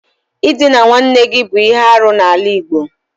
Ịdịna nwanne gị bụ ihe arụ n'ala igbo.